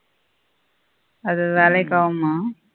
அது வெலைக்கு ஆகுமா